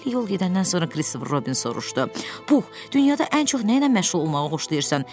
Beləcə xeyli yol gedəndən sonra Kristofer Robin soruşdu: “Pux, dünyada ən çox nə ilə məşğul olmağı xoşlayırsan?”